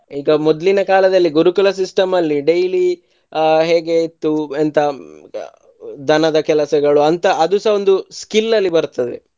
ಈಗ ಮೊದ್ಲಿನ ಕಾಲದಲ್ಲಿ ಗುರುಕುಲ system ಅಲ್ಲಿ daily ಆಹ್ ಹೇಗೆ ಇತ್ತು ಎಂತ ದನದ ಕೆಲಸಗಳು ಆಂತ ಅದುಸ ಒಂದು skill ಅಲ್ಲಿ ಬರ್ತದೆ.